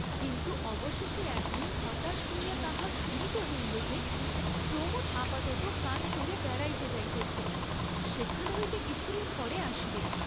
কিন্তু অবশেষে এক দিন হতাশ হইয়া তাহা শুনিতে হইল যে, প্রমোদ আপাততঃ কানপুরে বেড়াইতে যাইতেছেন, সেখান হইতে কিছুদিন পরে আসিবেন।